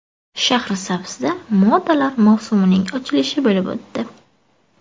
Shahrisabzda modalar mavsumining ochilishi bo‘lib o‘tdi.